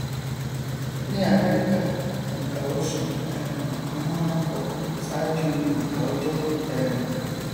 ní amẹríkà ònkà oṣù um ni wọn máa nkọ ṣáájú ònkà ọjọ um